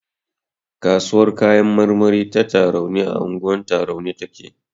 Kasuwar kayan marmari ta Tarauni a unguwar Tarauni take.